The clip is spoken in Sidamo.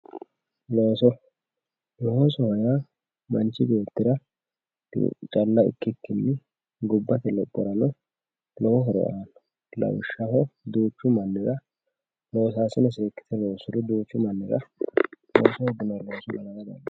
looso loosoho yaa manchi beettira calla ikkikkinni gobbate lophorano lowo horo aanno lawishshaho duuchu mannira loosaasine seekkite lossuro duuchu mannira horo aanno